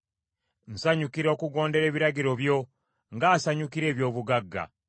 Nsanyukira okugondera ebiragiro byo, ng’asanyukira eby’obugagga.